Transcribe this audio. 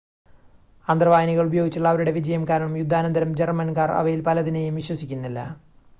അന്തർവാഹിനികൾ ഉപയോഗിച്ചുള്ള അവരുടെ വിജയം കാരണം യുദ്ധാനന്തരം ജർമ്മൻകാർ അവയിൽ പലതിനെയും വിശ്വസിക്കുന്നില്ല